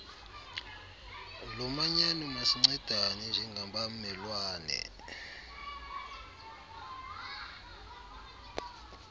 lomanyano masincedane njengabamelwane